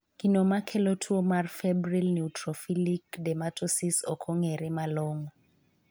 Gino makelo tuo mar febrile neutrophilic dermatosis ok ong'ere malongo.